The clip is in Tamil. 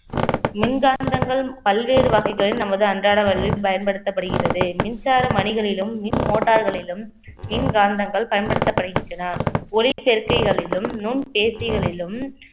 மின்காந்தங்கள் பல்வேறு வகைகளில் நமது அன்றாட வழியில் பயன்படுத்தப்படுகிறது மின்சார மணிகளிலும் மின் motor களிலும் மின்காந்தங்கள் பயன்படுத்தப்படுகின்றன ஒரே சேர்க்கைகளிலும் நுண் சேர்க்கைகளிலும்